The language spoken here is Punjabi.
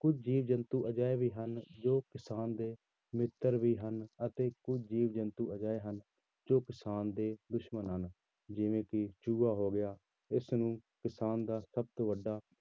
ਕੁੱਝ ਜੀਵ ਜੰਤੂ ਅਜਿਹੇ ਵੀ ਹਨ ਜੋ ਕਿਸਾਨ ਦੇ ਮਿੱਤਰ ਵੀ ਹਨ, ਅਤੇ ਕੁੱਝ ਜੀਵ ਜੰਤੂ ਅਜਿਹੇ ਹਨ, ਜੋ ਕਿਸਾਨ ਦੇ ਦੁਸ਼ਮਣ ਹਨ, ਜਿਵੇਂ ਕਿ ਚੂਹਾ ਹੋ ਗਿਆ, ਇਸਨੂੰ ਕਿਸਾਨ ਦਾ ਸਭ ਤੋਂ ਵੱਡਾ